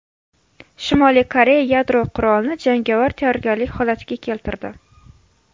Shimoliy Koreya yadro qurolini jangovar tayyorgarlik holatiga keltirdi.